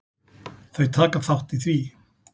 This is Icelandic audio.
Þau taka þátt í því.